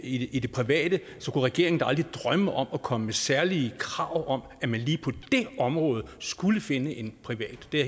i det private kunne regeringen da aldrig drømme om at komme med særlige krav om at man lige på det område skulle finde en privat det